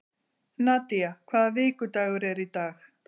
Nadía, hvaða vikudagur er í dag?